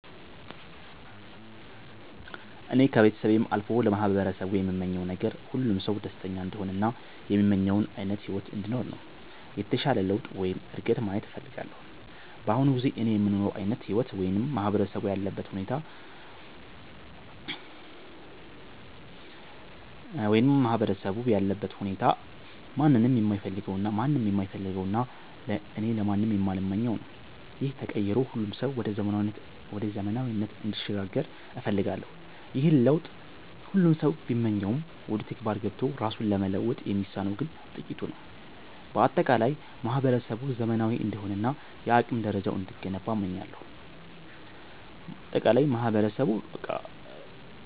እኔ ከቤተሰቤም አልፎ ለማህበረሰቡ የምመኘው ነገር፣ ሁሉም ሰው ደስተኛ እንዲሆን እና የሚመኘውን ዓይነት ሕይወት እንዲኖር ነው። የተሻለ ለውጥ ወይም እድገት ማየት እፈልጋለሁ። በአሁኑ ጊዜ እኔ የምኖረው ዓይነት ሕይወት ወይም ማህበረሰቡ ያለበት ሁኔታ ማንም የማይፈልገውና እኔም ለማንም የማልመኘው ነው። ይህ ተቀይሮ ሁሉም ሰው ወደ ዘመናዊነት እንዲሸጋገር እፈልጋለሁ። ይህንን ለውጥ ሁሉም ሰው ቢመኘውም፣ ወደ ተግባር ገብቶ ራሱን ለመለወጥ የሚነሳው ግን ጥቂቱ ነው። በአጠቃላይ ማህበረሰቡ ዘመናዊ እንዲሆንና የአቅም ደረጃው እንዲገነባ እመኛለሁ።